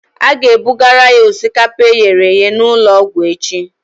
Ị ga-ebugara ya osikapa eghere eghe n'ụlọ ọgwụ echi